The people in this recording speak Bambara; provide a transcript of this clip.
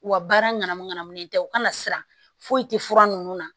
U ka baara ŋanamuŋanamu tɛ u ka na siran foyi tɛ fura ninnu na